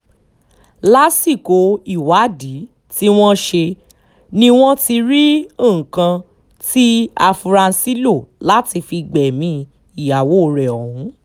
lásìkò ìwádìí tí wọ́n ṣe ni wọ́n ti rí nǹkan tí afurasí lò láti fi gbẹ̀mí ìyàwó rẹ̀ ọ̀hún